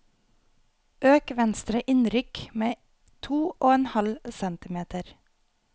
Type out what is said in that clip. Øk venstre innrykk med to og en halv centimeter